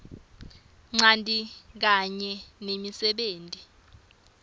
ncanti kanye nemisebenti